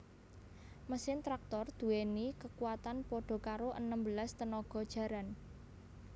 Mesin traktor duwéni kekuwatan padha karo enem belas tenaga jaran